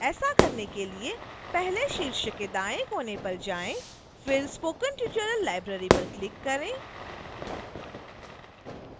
ऐसा करने के लिए पहले शीर्ष दाएं कोने पर जाएं फिर spoken tutorial library पर क्लिक करें